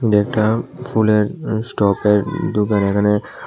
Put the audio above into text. ফুলের স্টপের দোকান এখানে।